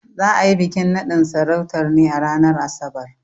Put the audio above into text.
Za a yi bikin naɗin sarautar ne a ranar Asabar.